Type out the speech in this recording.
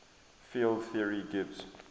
field theory gives